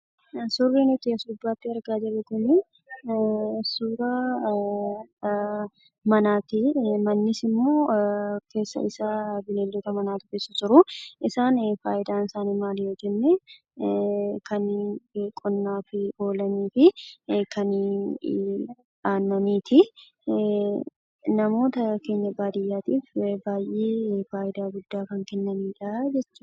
Suurri nuti as gubbaatti argaa jirru kuni suuraa manaati. Mannisimmoo keessa isaa bineeldota manaatu jiru. Isaan faayidaan isaanii maal yoo jenne kanneen qonnaaf oolanii fi kanneen aannaniiti. Namoota keenya baadiyyaatiif baay'ee faayidaa guddaa kan Kennanidha jechuudha.